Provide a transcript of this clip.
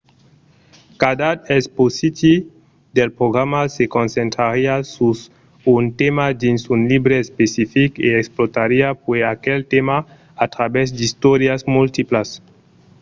cada episòdi del programa se concentrariá sus un tèma dins un libre especific e explorariá puèi aquel tèma a travèrs d'istòrias multiplas